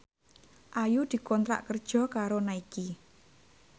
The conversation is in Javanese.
Ayu dikontrak kerja karo Nike